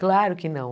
Claro que não.